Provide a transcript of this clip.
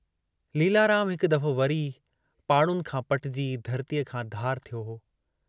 लीलाराम हिकु दफ़ो वरी पाड़ुनि खां पटजी धरतीअ खां धार थियो हो।